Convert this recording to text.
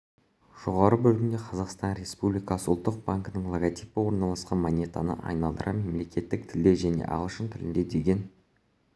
жоғарғы бөлігінде қазақстан республикасы ұлттық банкінің логотипі орналасқан монетаны айналдыра мемлекеттік тілде және ағылшын тілінде деген